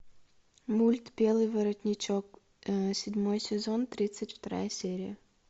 мульт белый воротничок седьмой сезон тридцать вторая серия